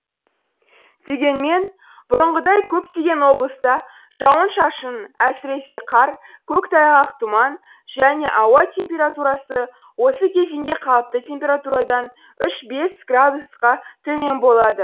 дегенмен бұрынғыдай көптеген облыста жауын шашын әсіресе қар көктайғақ тұман және ауа температурасы осы кезеңге қалыпты температурадан үш бес градусқа төмен болады